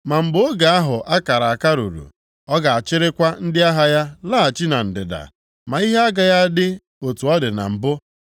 “Ma mgbe oge ahụ a kara aka ruru, ọ ga-achịrịkwa ndị agha ya laghachi na ndịda, ma ihe agaghị adị otu ọ dị na mbụ.